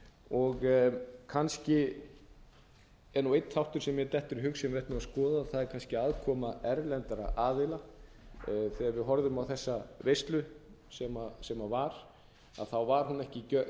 og kannski er einn þáttur sem mér dettur í hug sem við ættum að skoða það er kannski aðkoma erlendra aðila þegar við horfum á þessa veislu sem var þá var hún ekki